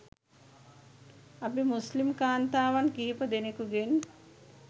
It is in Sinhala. අපි මුස්‌ලිම් කාන්තාවන් කිහිප දෙනකුගෙන්